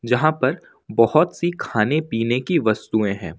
जहां पर बहुत सी खाने पीने की वस्तुएं हैं।